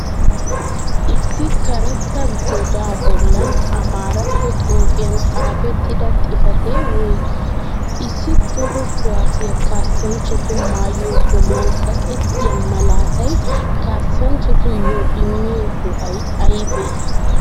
Issi kareeta godaa bollan ammaaratto xuufiyan xafetidda xifate woygi? Issi toho kuwassiya kassanchchatu maayuwa bollan kaqqettiya maalatay kassanchchatuyo immiyo go'ay aybee?